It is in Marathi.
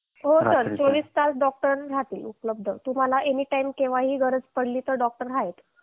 हो सर चोवीस तास डॉक्टर राहतील उपलब्ध तुम्हाला एनीटाईम केव्हाही गरज पडली तर डॉक्टर आहेत